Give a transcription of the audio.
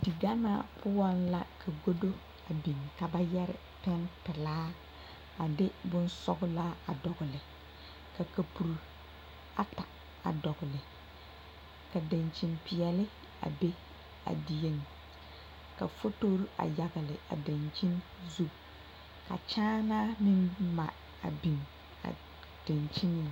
Diganaa poɔŋ la ka godo biŋ ka ba yɛre pɛŋ pilaa a de boŋ sɔglaa dɔgle ka kapuru ata a dɔgle ka daŋkyinpeɛle a be a dieŋ ka fotore a yɛgle a daŋkyine zu ka kyaanaa meŋ mare a biŋ a daŋkyiniŋ.